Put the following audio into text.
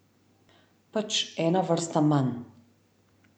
Pač ena vrsta manj.